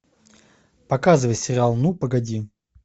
показывай сериал ну погоди